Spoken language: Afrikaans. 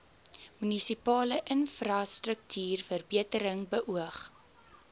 munisipale infrastruktuurverbetering beoog